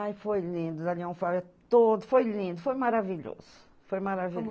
Ai, foi lindo, Zé Leão, todo, foi lindo, foi maravilhoso, foi maravilhoso. Como